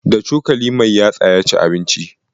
Da cokali mai yatsa ya ci abincin.